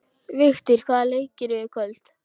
Vigtýr, hvaða leikir eru í kvöld?